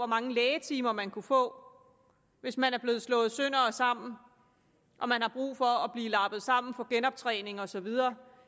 mange lægetimer man kunne få hvis man er blevet slået sønder og sammen og man har brug for at blive lappet sammen få genoptræning og så videre